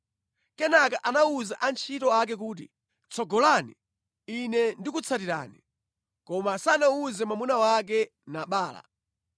Kenaka anawuza antchito ake kuti, “Tsogolani, ine ndikutsatirani.” Koma sanawuze mwamuna wake Nabala.